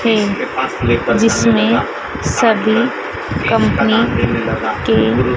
तेल जिसमें सभी कंपनी के--